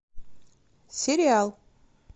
сериал